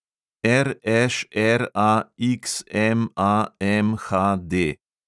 RŠRAXMAMHD